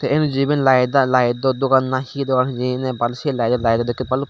tey enuju iben lyde lydow dogan nahi hi dogan hijeni ne baalsi lydow lydow dokkey baluk.